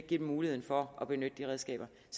give dem mulighed for at benytte de redskaber